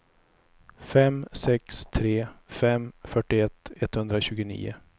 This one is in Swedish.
fem sex tre fem fyrtioett etthundratjugonio